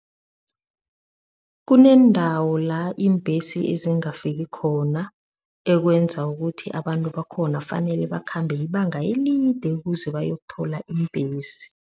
Kuneendawo la iimbhesi ezingafiki khona, ekwenza ukuthi abantu bakhona fanele bakhambe ibanga elide ukuze bayokuthola iimbhesi.